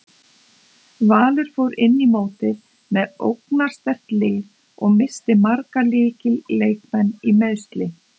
Valur fór inn í mótið með ógnarsterkt lið og missti marga lykil leikmenn í meiðsli.